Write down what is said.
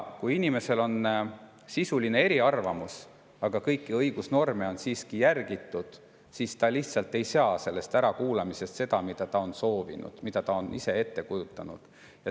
Kui inimesel on sisuline eriarvamus, aga kõiki õigusnorme on siiski järgitud, siis ta lihtsalt ei saa sellest ärakuulamisest seda, mida ta on soovinud, mida ta on ette kujutanud.